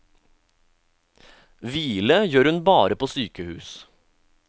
Hvile gjør hun bare på sykehus.